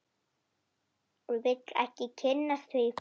Vil ekki kynnast því.